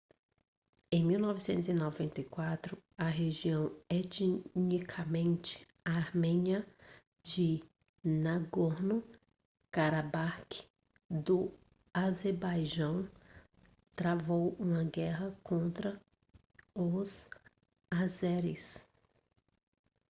em 1994 a região etnicamente armênia de nagorno-karabakh do azerbaijão travou uma guerra contra os azeris